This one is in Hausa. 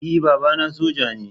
E, babana soja ne.